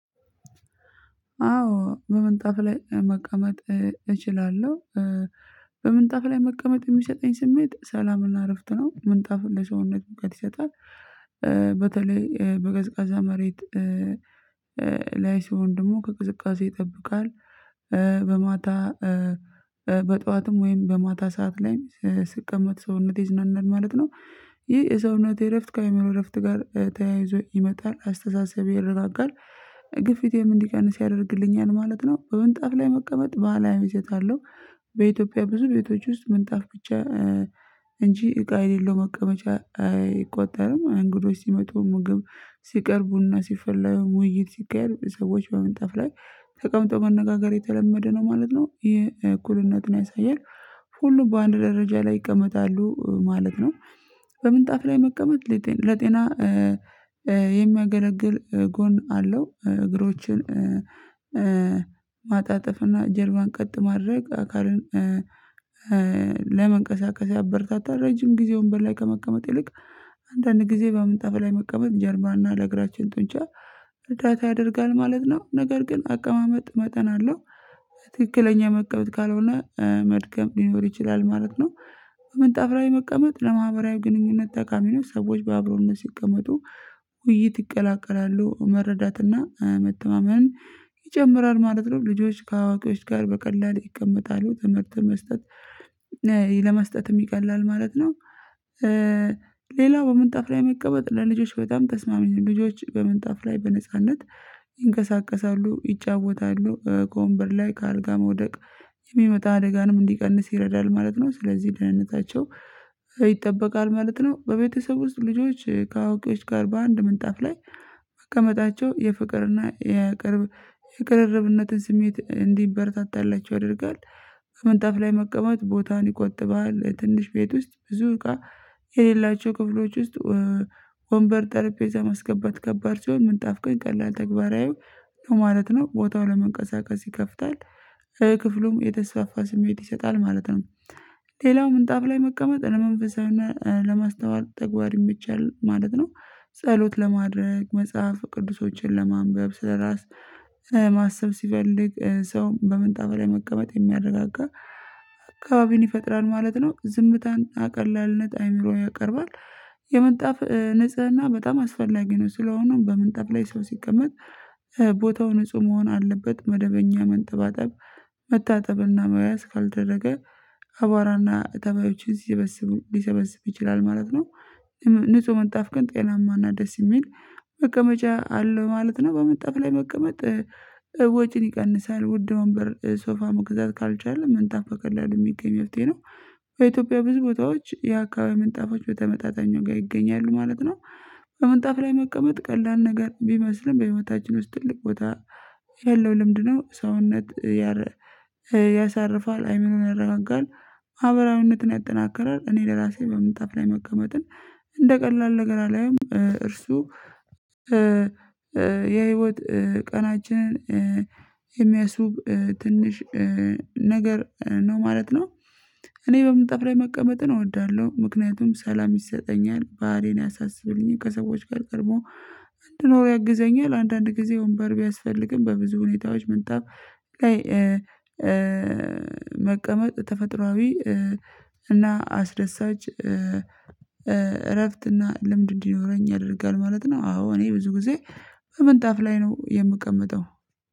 አዎ በምንጣፍ ላይ መቀመጥ እችላለሁ። በምንጣፍ ላይ መቀመጥ የሚሰጠኝ ስሜት ሰላምና እረፍት ነው ምንጣፍ ለሰውነት ሙቀት ይሰጣል። በተለይ በቀዝቃዛ መሬት ላይ ሲሆን ደግሞ ከቅዝቃዛ ይጠብቃል። በማታ በጠዋትም ወይም በማታ ሰዓት ላይም ስቀመጥ ሰውነቴ ይዝናናል ማለት ነው። ይህ የሰውነት እረፍት ከአእምሮ እረፍት ጋር ተያይዞ ይመጣል አስተሳሰብ ይረጋጋል። ግፊቴም እንዲቀንስ ያደርግልኛል ማለት ነው። በምንጣፍ ላይ መቀመጥ ባህላዊ ይዘት አለው። በኢትዮጵያ ብዙ ቤቶች ውስጥ ምንጣፍ ብቻ እንጂ እቃ የሌለው መቀመጫ አይቆጠርም። እንግዶች ሲመጡ ምግብ ስቀርብ ቡና ሲፈለ ውይይት ስካሄድ ሰዎች በመንጣፍ ላይ ተቀምጠው መነጋገር የተለመደ ነው ማለት ነው። ይሄ እኩልነትን ያሳያል ሁሉ በአንድ ደረጃ ላይ ይቀመጣሉ ማለት ነው። በምንጣፍ ላይ መቀመጥ ለጤና የሚያገለግል ጎን አለው። እግሮችን ማጣጠፍ እና ጀርባን ቀጥ ማድረግ አካልን ለመንቀሳቀስ ያበረታታል። ረጅም ጊዜ ወንበር ላይ ከመቀመጥ ይልቅ አንዳንድ ጊዜ በምንጣፊ ላይ መቀመጥ ጀርባና ለእግራችን ጡንቻ እርዳታ ያደርጋል ማለት ነው። ነገር ግን አቀማመጥ መጠን አለው ትክክለኛ መቀመጥ ካልሆነ መድከም ሊኖር ይችላል ማለት ነው። በምንጣፍ ላይ መቀመጥ ለማህበራዊ ግንኙነት ጠቃሚ ነው ሰዎች በአብሮነት ሲቀመጡ ውይይት ይቀላቀላሉ መረዳትና መተማመን ይጨምራል ማለት ነው። ልጆች ከአዋቂዎች ጋር በቀላሉ ይቀመጣሉ ትምህርት መስጠት ለመስጠትም ይቀላል ማለት ነው። ሌላው በምንጣፍ ላይ መቀበል ለልጆች በጣም ተስማሚ ልጆች በመንጣፍ ላይ በነጻነት ይንቀሳቀሳሉ ይጫወታሉ ከወንበር ላይ ከአልጋ መውደቅ የሚመጣ አደጋንም እንዲቀንስ ይረዳል ማለት ነው። ስለዚህ ደህንነታቸው ይጠበቃል ማለት ነው። በቤተሰብ ውስጥ ልጆች ከአውቂዎች ጋር በአንድ ምንጣፍ ላይ መቀመጣቸው የፍቅርና የቅርብ የቅሪረብነትን ስሜት እንዲበረታታላቸው ያደርጋል። በመንጣፍ ላይ መቀማት ቦታን ይቆጥባል ትንሽ ቤት ውስጥ ብዙ እቃ የሌላቸው ክፍሎች ውስጥ ወንበር ጠረጴዛ ማስገባት ከባድ ሲሆን ምንጣፍ ግን ቀላል ተግባራዊ ማለት ነው። ቦታው ለመንቀሳቀስ ይከፍታል ክፍሉም የተስፋፋ ስሜት ይሰጣል ማለት ነው። ሌላው ምንጣፍ ላይ መቀመጥ ለመንፈሳዊነት ለማስተዋል ተግባሪ ይመቻል ማለት ነው። ጸሎት ለማድረግ መጽሐፍ ቅዱሶችን ለማንበብ ስለራስ ማሰብ ሲፈልግ ሰው በምንጣ ላይ መቀመጥ የሚያረጋጋ አካባቢን ይፈጥራል ማለት ነው። ዝምታን ቀላልነት አይምሮ ያቀርባል የምንጣፍ ንጽህና በጣም አስፈላጊ ነው። ስለሆነም በምንጠፍ ላይ ሰው ሲቀመጥ ቦታው ንጹህ መሆን አለበት መደበኛ መንጠባጠብ መታጠብና መያዝ ካልተደረገ አቧራና ተባዮችን ልሰበስብ ይችላል ማለት ነው። ንጹህ ምንጣፍ ግን ጤናማና ደስ የሚል መቀመጫ አለው ማለት ነው። በምንጣፍ ላይ መቀመጥ ወጪን ይቀንሳል ውድ ወንበር ሶፋ መግዛት ካልቻለ መንጣፍ በቀላሉ የሚገኝ መፍትሄ ነው። በኢትዮጵያ ብዙ ቦታዎች የአካባቢ ምንጣፎች በተመጣጣኝ ዋጋ ይገኛሉ ማለት ነው። በምንጣፍ ላይ መቀመጥ ቀላል ነገር ቢመስልም በህይወታችን ውስጥ ትልቅ ቦታ ያለው ልምድ ነው ሰውነት ያሳርፋል አይምሮን ያረጋጋል። ማህበራዊነትን ያጠናክረል እኔ ለራሴ በምንጣፍ ላይ መቀመጥን እንደ ቀላል ነገር አላየሁም እርሱ የህይወት ቀናችንን የሚያስውብ ትንሽ ነገር ነው ማለት ነው። እኔ በምጠፍ ለይ መቀመጥን እወዳለሁ ምክንያቱም ሰላም ይሰጠኛል ባህሌን ያሳስብልኝን ከሰዎች ጋር ቀድሞ እንድኖር ያግዘኛል። አንዳንድ ጊዜ ወንበር ቢያስፈልግም በብዙ ሁኔታዎች ምንጣፍ ላይ መቀመጥ ተፈጥሮአዊ እና አስደሳች እረፍት እና ልምድ እንዲኖረኝ ያደርጋል ማለት ነው። አዎ እኔ ብዙ ጊዜ በምንጣፍ ላይ ነው የምቀመጠው